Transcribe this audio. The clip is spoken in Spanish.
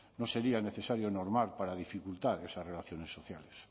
no sería necesario normar para dificultar esas relaciones sociales